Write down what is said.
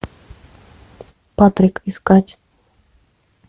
патрик искать